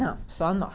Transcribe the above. Não, só nós.